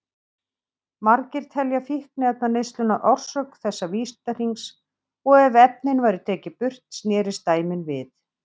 Margir telja fíkniefnaneysluna orsök þessa vítahrings og ef efnin væru tekin burt snerist dæmið við.